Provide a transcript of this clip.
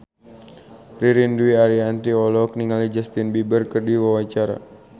Ririn Dwi Ariyanti olohok ningali Justin Beiber keur diwawancara